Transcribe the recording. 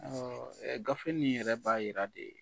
Ɛɛ gafe nin yɛrɛ b'a Yira de